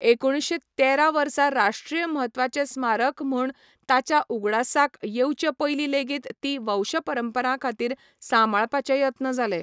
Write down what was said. एकुणशे तेरा वर्सा राश्ट्रीय म्हत्वाचे स्मारक म्हूण ताच्या उगडासाक येवचेपयलीं लेगीत ती वंशपरंपरांखातीर सांबाळपाचे यत्न जाले.